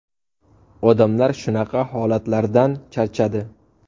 Odamlar shunaqa holatlardan charchadi.